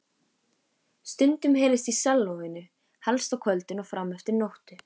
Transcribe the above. Stundum heyrðist í sellóinu, helst á kvöldin og frameftir nóttu.